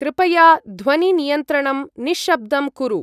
कृपया ध्वनि-नियन्त्रणं निश्शब्दं कुरु।